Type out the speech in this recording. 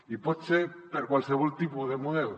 i pot ser per a qualsevol tipus de model